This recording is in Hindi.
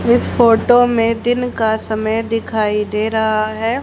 इस फोटो में दिन का समय दिखाई दे रहा है।